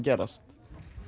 gerast